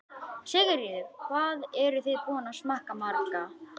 Sigríður: Hvað eruð þið búin að smakka marga?